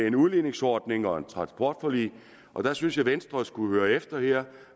en udligningsordning og et transportforlig og der synes jeg at venstre skulle høre efter